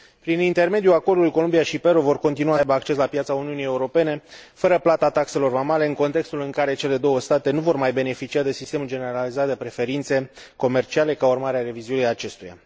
Prin intermediul acordului, Columbia și Peru vor continua să aibă acces la piața Uniunii Europene fără plata taxelor vamale, în contextul în care cele două state nu vor mai beneficia de sistemul generalizat de preferințe comerciale, ca urmare a revizuirii acestuia.